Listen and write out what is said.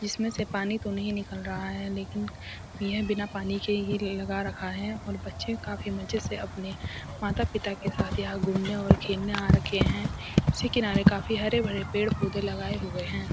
इस में से तो पानी नहीं निकल रहा है लेकिन ये बिना पानी के ही लगा रखा है और बच्चे काफी मजे से अपने माता-पिता के साथ यहां घूमने और खेलने आ रखें है उसी किनारे काफी हरे-भरे पेड़-पौधे लगाए हुए हैं।